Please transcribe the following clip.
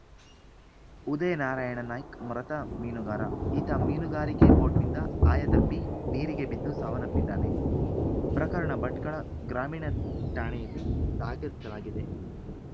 ಉದಯ ನಾರಾಯಣ ನಾಯ್ಕ್ ಮೃತ ಮೀನುಗಾರ ಈತ ಮೀನುಗಾರಿಕಾ ಬೋಟ್‍ನಿಂದ ಆಯತಪ್ಪಿ ನೀರಿಗೆ ಬಿದ್ದು ಸಾವನ್ನಪ್ಪಿದ್ದಾನೆ ಪ್ರಕರಣ ಭಟ್ಕಳ ಗ್ರಾಮೀಣ ಠಾಣೆಯಲ್ಲಿ ದಾಖಲಾಗಿದೆ